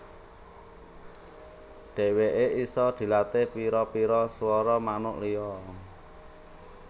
Dèwèké isa dilatih pira pira suwara manuk liya